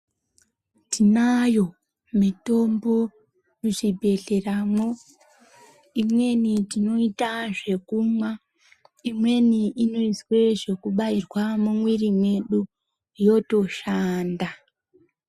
Tinayo mitombo muchibhedhleramwo. Imweni tinoita zvekumwa, imweni inoizwe zvekubairwe mumwiri mwedu, yotoshanda.